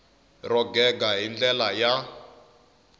ro gega hi ndlela ya